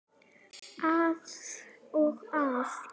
Að og af.